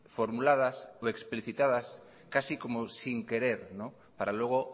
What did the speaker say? formuladas o explicitadas casi como sin querer para luego